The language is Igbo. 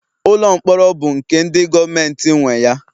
Ụlọ mkpọrọ bụ nke ndi govementi nwe ya